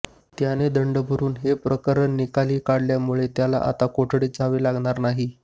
त्याने दंड भरुन हे प्रकरण निकाली काढल्यामुळे त्याला आता कोठडीत जावे लागणार नाही